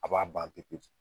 A b'a bante koju